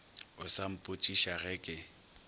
o sa mpotšiša ge ke